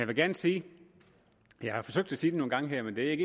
vil gerne sige jeg har forsøgt at sige det nogle gange her men det